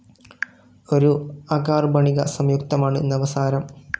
ഒരു അകാർബണിക സംയുക്തമാണ് നവസാരം.